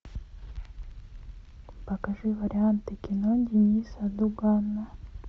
покажи варианты кино денниса дугана